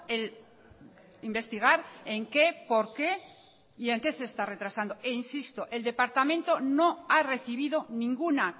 el investigar en qué por qué y en qué se está retrasando e insisto el departamento no ha recibido ninguna